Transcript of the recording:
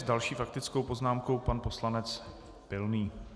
S další faktickou poznámkou pan poslanec Pilný.